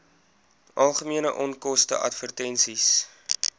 algemene onkoste advertensies